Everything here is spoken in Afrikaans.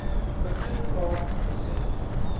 begin praat besef